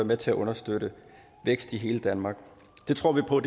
med til at understøtte vækst i hele danmark det tror vi på